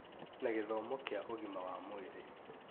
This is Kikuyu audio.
na gĩthomo kĩa ũgima wa mwĩrĩ,